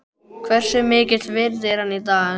Hversu mikils virði er hann í dag?